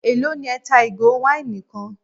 Élò ní ẹ́ ń ta ìgò wáìnì kan?